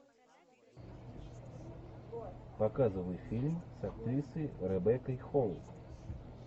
показывай фильм с актрисой ребеккой холл